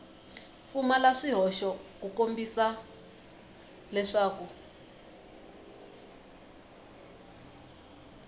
pfumala swihoxo ku kombisa leswaku